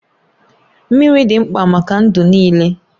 Mmiri dị mkpa maka ndụ niile.